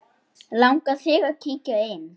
Langar þig að kíkja inn?